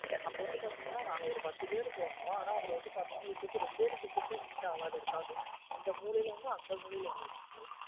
அப்ப வந்து பாத்தீங்க ந. நாங்க ஒரு பத்து பேரு போனும் அனா அதுலா வந்து பாத்தீன இருகிறது ரெண்டே ரெண்டு seat உ தான் into ஆவாது இருக்கு. அதுவும் வந்து இந்த மூளைல ஒன்னு அந்து மூளைல ஒன்னு இருக்கு.